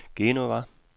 Genova